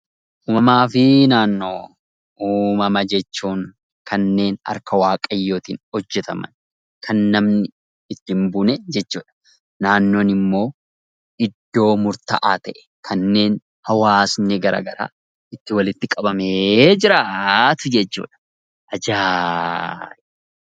Uumamaa fi naannoo Uumama jechuun kanneen harka Waaqayyootiin hojjetaman, kan namni itti hin buune jechuu dha. Naannoon immoo iddoo Murtaa'aa ta'e kanneen hawaasni garaagaraa itti walitti qabamee jiraatu jechuu dha. Ajaa'iba!